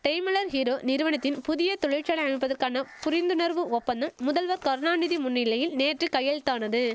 Daimler Hero நிறுவனத்தின் புதிய தொழிற்சாலை அமைப்பதற்கான புரிந்துணர்வு ஒப்பந்தம் முதல்வர் கருணாநிதி முன்னிலையில் நேற்று கையெழுத்தானது